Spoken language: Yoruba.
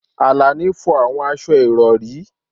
Alani fọ àwọn aṣọ ìrọ̀rí